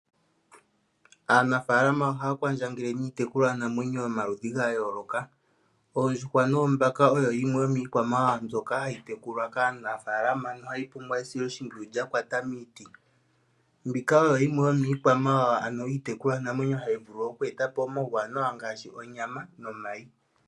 Aanafaalama ohaya kwandjangele niitekulwanamwenyo yomaludhi gayooloka. Oondjuhwa noombaka oyo yimwe yomiilwamawawa mbyoka hayi tekulwa kaanafaalama nohayi pumbwa esiloshimpwiyu lyakwata miiti . Mbika oyo yimwe yomiikwamawawa ano iitekulwanamwenyo hayi vulu oku eta po omauwanawa ngaashi onyama nomayi.